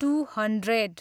two hundred